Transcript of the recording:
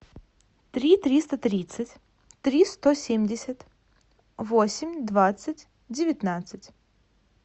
три триста тридцать три сто семьдесят восемь двадцать девятнадцать